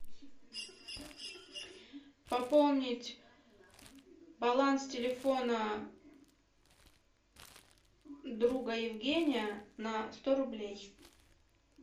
пополнить баланс телефона друга евгения на сто рублей